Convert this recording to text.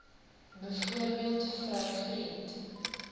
byvoorbeeld vrou vriend